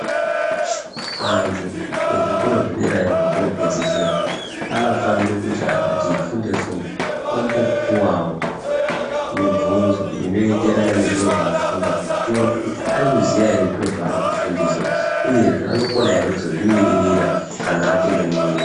Antu ezvikora zvederayo zvekopedzesera anofanira kuti akatifunde fude ombopuawo mibvunzo inoyenderana nezveafunda kuti tione kuti arikuziya ere zviro zvaari kufundiswa uyezve kuti anokona ere kuzozvimiririra kana apinde munyika.